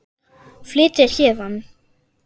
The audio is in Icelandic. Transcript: Flytja héðan.